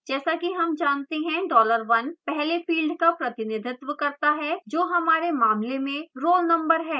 जैसा कि हम जानते हैं $1 पहले field का प्रतिनिधित्व करता है जो हमारे मामले में roll number है